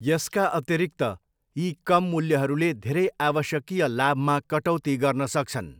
यसका अतिरिक्त, यी कम मूल्यहरूले धेरै आवश्यकीय लाभमा कटौती गर्न सक्छन्।